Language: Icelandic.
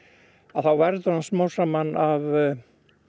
þá verður hann smám saman að